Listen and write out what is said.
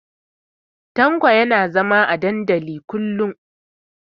Tanko yana zaune a dandalin kullun.